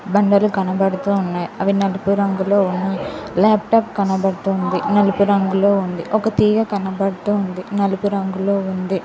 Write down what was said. బండలు కనబడుతూ ఉన్నాయ్ అవి నలుపు రంగులో ఉన్నాయ్ లాప్టాప్ కనబడుతుంది నలుపు రంగులో ఉంది ఒక తీగ కనబడుతుంది నలుపు రంగులో ఉంది.